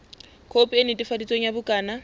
khopi e netefaditsweng ya bukana